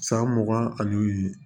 San mugan ani